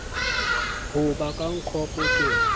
ho ba ka ncop ke